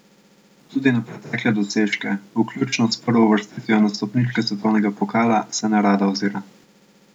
Tudi na pretekle dosežke, vključno s prvo uvrstitvijo na stopničke svetovnega pokala, se nerada ozira.